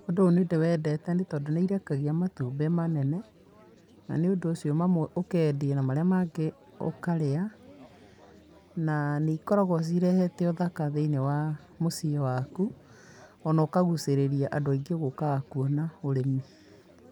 Ũndũ ũyũ nĩndĩwendete nĩ tondũ nĩirekagia matumbĩ manene, na nĩ ũndũ ũcio mamwe ũkendia, na marĩa mangĩ ũkarĩa, na nĩikoragwo cirehete ũthaka thĩ-inĩ wa mũciĩ waku, ona ũkagucĩrĩrĩa andũ aingĩ gũkaga kuona ũrĩmi.